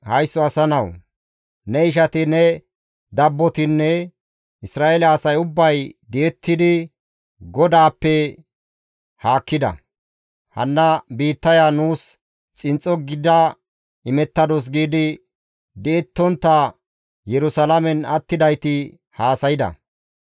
«Haysso asa nawu! Ne ishati ne dabbotinne Isra7eele asay ubbay di7ettidi GODAAPPE haakkida; Hanna biittaya nuus xinxxo gida imettadus» giidi di7ettontta Yerusalaamen attidayti haasayda.